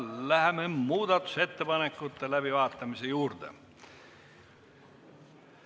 Läheme muudatusettepanekute läbivaatamise juurde.